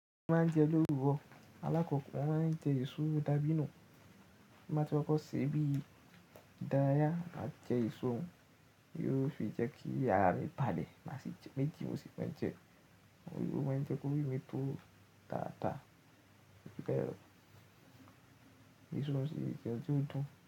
Bi mo bá n jẹ lowuró, alákọ̀ko mọ́ máa ń jẹ eṣó dabínù. Bí má ti kọ́ ṣe bí dáyá máa jẹ ìṣó, yóò sí jẹ́ kí ààrà mi bàlẹ̀ màsí tí meji ni mo sì ma jẹ. Ilu máa ń jẹ́ kórí mi tó tàtà, ó fi bẹ́rẹ́, ìṣó nío ṣi ètò òdùn.